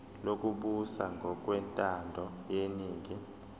lokubusa ngokwentando yeningi